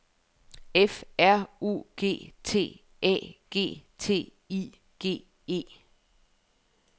F R U G T A G T I G E